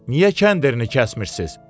Niyə kəndini kəsmirsiz?